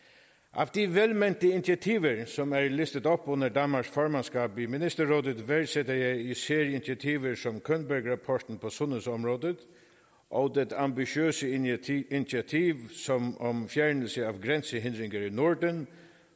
af de velmente initiativer som er listet op under danmarks formandskab i nordisk ministerråd værdsætter jeg især initiativer som könbergrapporten på sundhedsområdet og det ambitiøse initiativ om om fjernelse af grænsehindringer i norden